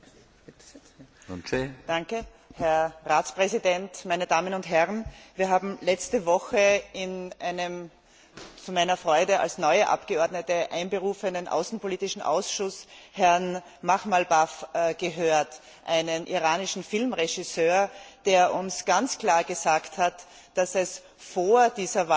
Herr Präsident, Herr Ratspräsident, meine Damen und Herren! Wir haben letzte Woche in einem zu meiner Freude als neue Abgeordnete einberufenen außenpolitischen Ausschuss Herrn Makhmalbaf gehört, einen iranischen Filmregisseur, der uns ganz klar gesagt hat, dass es vor dieser Wahl